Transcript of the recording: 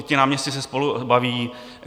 I ti náměstci se spolu baví.